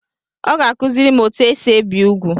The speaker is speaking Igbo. Ọ ga-akuziri m etu esi ebi úgwù.